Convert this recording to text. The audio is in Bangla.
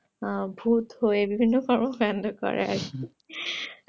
ভুত হয়ে বিভিন্ন কারণে